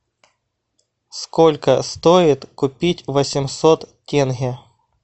сколько стоит купить восемьсот тенге